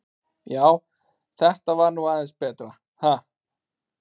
Já, þetta var nú aðeins betra, ha!